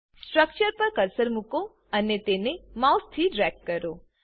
structure પર cursor મુકો અને તેને માઉસથી ડ્રેગ કરો